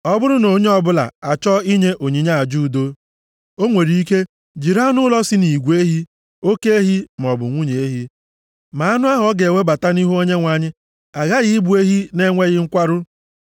“ ‘Ọ bụrụ na onye ọbụla achọọ inye onyinye aja udo, o nwere ike jiri anụ ụlọ si nʼigwe ehi, oke ehi maọbụ nwunye ehi. Ma anụ ahụ ọ ga-ewebata nʼihu Onyenwe anyị aghaghị ịbụ ehi na-enweghị nkwarụ.